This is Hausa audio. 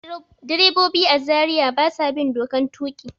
Direbobi a Zariya ba sa bin dokan tuƙi.